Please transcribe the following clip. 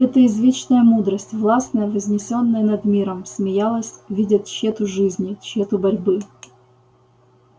это извечная мудрость властная вознесённая над миром смеялась видя тщету жизни тщету борьбы